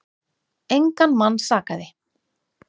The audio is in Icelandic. Engan mann sakaði.